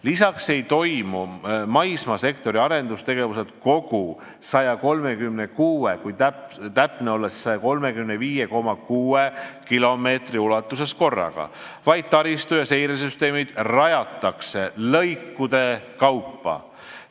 Lisaks ei toimu maismaasektori arendustegevused kogu 136 – kui täpne olla, siis 135,6 – kilomeetri ulatuses korraga, vaid taristu- ja seiresüsteemid rajatakse lõikude kaupa.